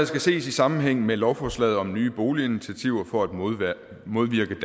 skal ses i sammenhæng med lovforslaget om nye boliginitiativer for at modvirke